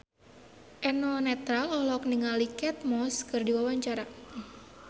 Eno Netral olohok ningali Kate Moss keur diwawancara